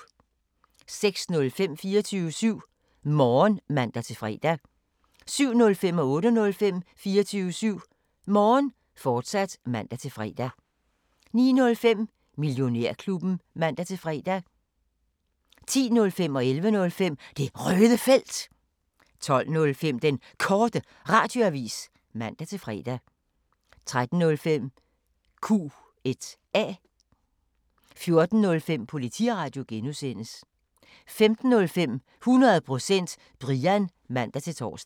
06:05: 24syv Morgen (man-fre) 07:05: 24syv Morgen, fortsat (man-fre) 08:05: 24syv Morgen, fortsat (man-fre) 09:05: Millionærklubben (man-fre) 10:05: Det Røde Felt 11:05: Det Røde Felt, fortsat 12:05: Den Korte Radioavis (man-fre) 13:05: Q&A 14:05: Politiradio (G) 15:05: 100% Brian (man-tor)